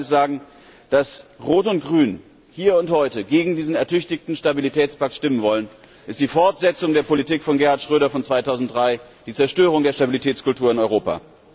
Ich muss eines sagen Dass Rot und Grün hier und heute gegen diesen ertüchtigten Stabilitätspakt stimmen wollen, ist die Fortsetzung der Politik von Gerhard Schröder von 2003, die Zerstörung der Stabilitätskultur in Europa.